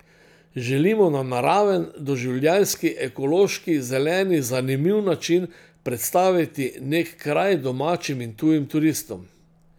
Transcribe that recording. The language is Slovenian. Želimo na naraven, doživljajski, ekološki, zeleni, zanimiv način predstaviti nek kraj domačim in tujim turistom.